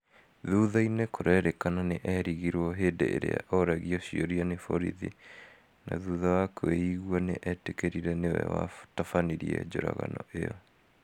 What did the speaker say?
thutha-ini kũrerĩkana nĩ erigirwo hĩndĩ iria aragio ciũria ni borithi na thutha wa kwĩigua nĩ etĩkĩrire nĩwe watafanirie njũragano iyo